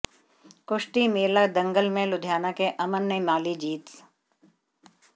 कुश्ती मेला दंगल में लुधियाना के अमन ने माली जीती